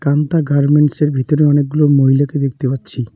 Kanta garments -এর ভিতরে অনেকগুলো মহিলাকে দেখতে পাচ্ছি।